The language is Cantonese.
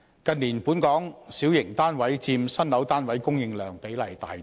近年，本港小型單位佔新樓單位供應量比例大增。